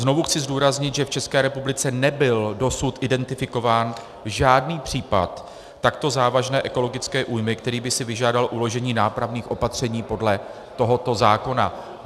Znovu chci zdůraznit, že v České republice nebyl dosud identifikován žádný případ takto závažné ekologické újmy, který by si vyžádal uložení nápravných opatření podle tohoto zákona.